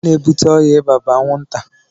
Ihe na ebute ọya ịba bu anwụ nta.